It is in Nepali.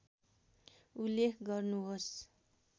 उल्लेख गर्नुहोस्